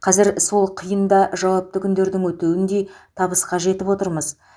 қазір сол қиын да жауапты күндердің өтеуіндей табысқа жетіп отырмыз